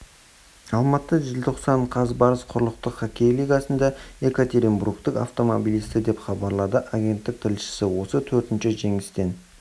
алматы желтоқсан қаз барыс құрлықтық хоккей лигасында екатеринбургтық автомобилисті деп хабарлады агенттік тілшісі осы төртінші жеңістен